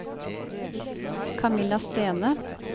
Camilla Stene